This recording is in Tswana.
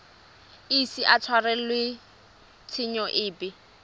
ise a tshwarelwe tshenyo epe